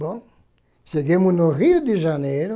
Bom, chegamos no Rio de Janeiro,